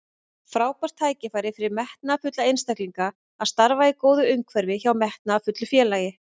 Frábært tækifæri fyrir metnaðarfulla einstaklinga að starfa í góðu umhverfi hjá metnaðarfullu félagi.